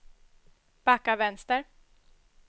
backa vänster